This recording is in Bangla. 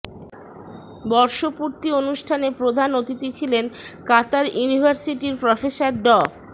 বর্ষপূর্তি অনুষ্ঠানে প্রধান অতিথি ছিলেন কাতার ইউনিভার্সিটির প্রফেসর ড